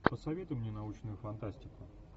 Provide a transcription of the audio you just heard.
посоветуй мне научную фантастику